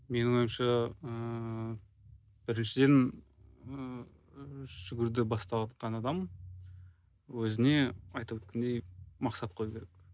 менің ойымша ііі біріншіден ііі жүгіруді баставатқан адам өзіне айтып өткендей мақсат қою керек